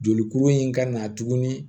Jolikuru in ka na tuguni